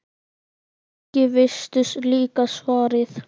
Kannski veistu líka svarið.